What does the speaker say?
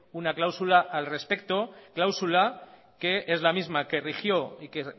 una cláusula al respecto cláusula que es la misma que rigió y que